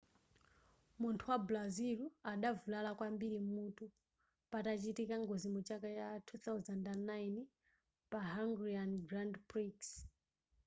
munthu wa brazil adavulala kwambiri m'mutu patachitika ngozi muchaka cha 2009 pa hungarian grand prix